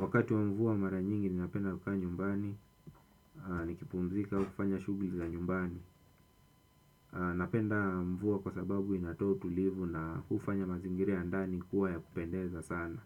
Wakati wa mvua mara nyingi ni napenda kukaa nyumbani, nikipumzika au kufanya shugli za nyumbani. Napenda mvua kwa sababu inatoa utulivu na ufanya mazingira ya ndani kuwa ya kupendeza sana.